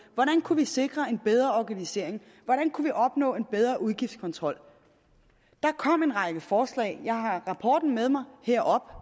hvordan kunne vi sikre en bedre organisering hvordan kunne vi opnå en bedre udgiftskontrol der kom en række forslag jeg har rapporten med mig herop